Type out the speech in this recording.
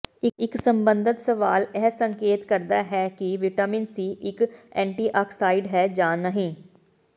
ਇੱਕ ਸਬੰਧਤ ਸਵਾਲ ਇਹ ਸੰਕੇਤ ਕਰਦਾ ਹੈ ਕਿ ਵਿਟਾਮਿਨ ਸੀ ਇੱਕ ਐਂਟੀਆਕਸਾਈਡ ਹੈ ਜਾਂ ਨਹੀਂ